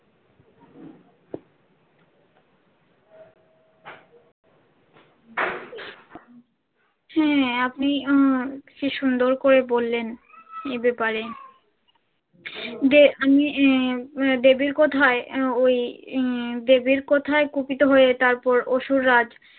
হ্যাঁ আপনি আহ কি সুন্দর করে বললেন এই ব্যাপারে। যে আমি আহ দেবীর কথায় আহ ওই আহ দেবীর কথায় কুপিত হয়ে তারপর অসুররাজ